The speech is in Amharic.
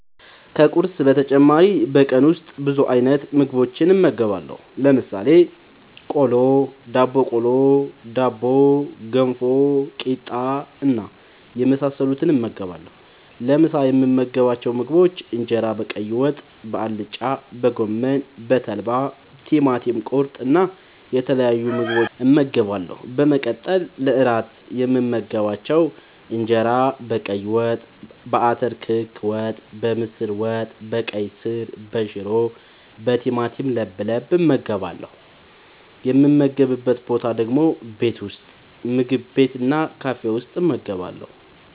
ከቁርስ በተጨማሪ በቀን ውስጥ ብዙ አይነት ምግቦችን እመገባለሁ። ለምሳሌ፦ ቆሎ፣ ዳቦቆሎ፣ ዳቦ፣ ገንፎ፣ ቂጣ እና የመሳሰሉትን እመገባለሁ። ለምሳ የምመገባቸው ምግቦች እንጀራ በቀይ ወጥ፣ በአልጫ፣ በጎመን፣ በተልባ፣ ቲማቲም ቁርጥ እና የተለያዩ ምግቦችን እመገባለሁ። በመቀጠል ለእራት የምመገባቸው እንጀራ በቀይ ወጥ፣ በአተር ክክ ወጥ፣ በምስር ወጥ፣ በቀይ ስር፣ በሽሮ፣ በቲማቲም ለብለብ እመገባለሁ። የምመገብበት ቦታ ደግሞ ቤት ውስጥ፣ ምግብ ቤት እና ካፌ ውስጥ እመገባለሁ።